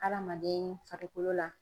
Adamaden farikolo la.